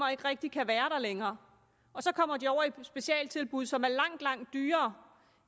ikke rigtig kan være der længere og så kommer de over i specialtilbud som er langt langt dyrere